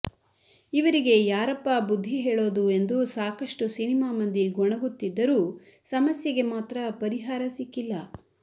ಇವರಿಗೆ ಯಾರಪ್ಪಾ ಬುದ್ಧಿ ಹೇಳೋದು ಎಂದು ಸಾಕಷ್ಟು ಸಿನಿಮಾ ಮಂದಿ ಗೊಣಗುತ್ತಿದ್ದರೂ ಸಮಸ್ಯೆಗೆ ಮಾತ್ರ ಪರಿಹಾರ ಸಿಕ್ಕಿಲ್ಲ